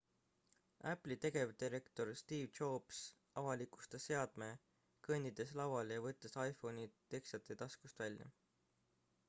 apple'i tegevdirektor steve jobs avalikustas seadme kõndides lavale ja võttes iphone'i teksade taskust välja